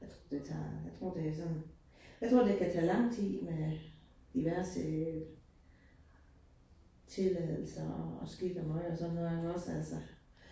Jeg tror det tager, jeg tror det sådan, jeg tror det kan tage lang tid med diverse tilladelser og skidt og møg og sådan noget er der også altså